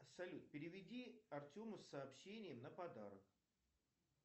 салют переведи артему с сообщением на подарок